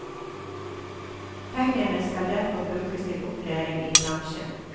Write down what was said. Pengene skal derfor brukes til opplæring i bransjen.